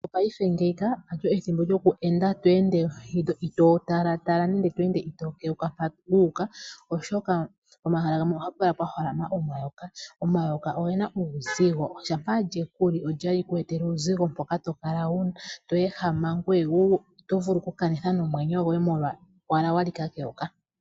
Mopaife ngeyi halyo ethimbo lyoku enda tweende itoo talatala nenge itoo keuka mpa wuuka, oshoka pomahala gamw ohapu kala pwa holama omayoka. Omayoka oge na uuzigo, shampa lyeku li ota li ku etele uuzigo mpoka tokala tweehama ngoye wo oto vulu okukanitha nomwenyo gwoye molwa owala wa li ka keyoka.